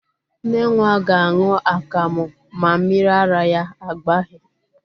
Nne nwa ga-aṅụ akamụ ma mmiri ara ya agbaghị.